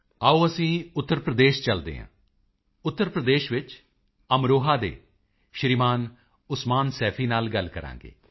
ਆਓ ਅਸੀਂ ਉੱਤਰ ਪ੍ਰਦੇਸ਼ ਚਲਦੇ ਹਾਂ ਉੱਤਰ ਪ੍ਰਦੇਸ਼ ਵਿੱਚ ਅਮਰੋਹਾ ਦੇ ਸ਼੍ਰੀਮਾਨ ਉਸਮਾਨ ਸੈਫੀ ਨਾਲ ਗੱਲ ਕਰਾਂਗੇ